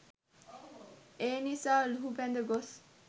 එනිසා ලුහුබැඳ ගොස්